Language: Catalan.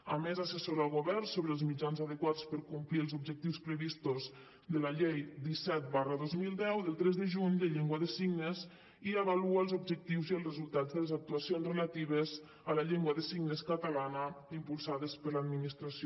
a més assessora el govern sobre els mitjans adequats per complir els objectius previstos de la llei disset dos mil deu del tres de juny de llengua de signes i avalua els objectius i els resultats de les actuacions relatives a la llengua de signes catalana impulsades per l’administració